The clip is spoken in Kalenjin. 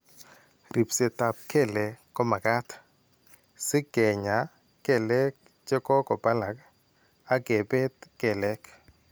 Ribseetap kelek ko makat si keny'aay kelek che ko balak ak kebet kelek.